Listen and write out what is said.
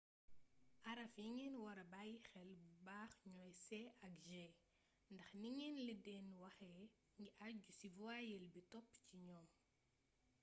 araf yi ngeen wara bàyyi xel bu baax ñooy c ak g ndax ni ngeen leen di waxee ngi aju ci voyelle bi topp ci ñoom